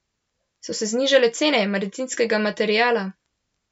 So se znižale cene medicinskega materiala?